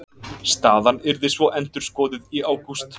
Staðan yrði svo endurskoðuð í ágúst